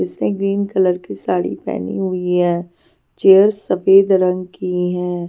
इसने green colour की साड़ी पहनी हुई है चेयर्स सफेद रंग की है.